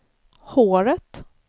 håret